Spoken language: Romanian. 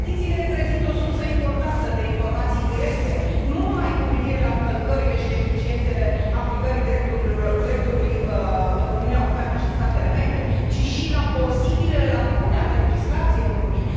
Petițiile reprezintă o sursă importantă de informații directe, nu numai cu privire la încălcările și deficiențele aplicării dreptului în Uniunea Europeană și în statele membre, ci și la posibilele lacune ale legislației Uniunii.